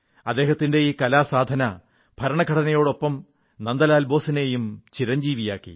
അദ്ദേഹത്തിന്റെ ഈ കലാസാധന ഭരണഘടനയോടൊപ്പം നന്ദലാൽ ബോസിനെയും ചിരഞ്ജീവിയാക്കി